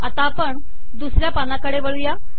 आता आपण दुसऱ्या पानाकडे वळू या